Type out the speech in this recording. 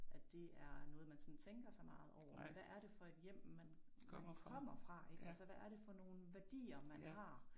At det er noget man sådan tænker så meget over men hvad er det for et hjem man man kommer fra ik altså hvad er det for nogle værdier man har